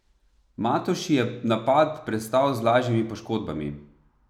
Matoši je napad prestal z lažjimi poškodbami.